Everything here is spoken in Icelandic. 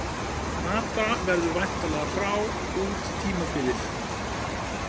Mata verður væntanlega frá út tímabilið.